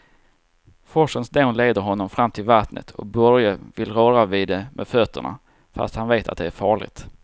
Forsens dån leder honom fram till vattnet och Börje vill röra vid det med fötterna, fast han vet att det är farligt.